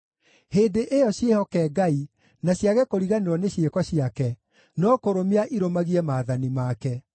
Hĩndĩ ĩyo ciĩhoke Ngai na ciage kũriganĩrwo nĩ ciĩko ciake, no kũrũmia irũmagie maathani make.